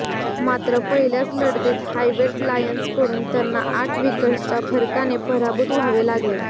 मात्र पहिल्याच लढतीत हायवेल्ड लायन्सकडून त्यांना आठ विकेट्सच्या फरकाने पराभूत व्हावे लागले